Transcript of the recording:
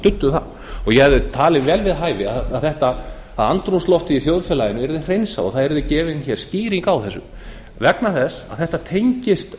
studdu það og ég hefði talið vel við hæfi að andrúmsloftið í þjóðfélaginu yrði hreinsað og það yrði gefin skýring á þessu vegna þess að þetta tengist